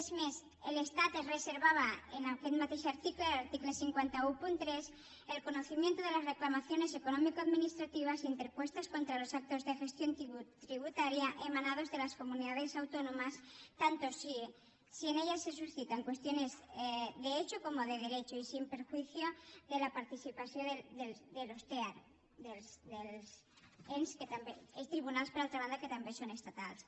és més l’estat es reservava en aquest mateix article l’article cinc cents i tretze el conocimiento de las reclamaciones económico administrativas interpuestas contra los actos de gestión tributaria emanados de las comunidades autónomas tanto si en ello se suscitan cuestiones de hecho como de derecho y sin perjuicio de la participación de los tea dels tribunals que per altra banda també són estatals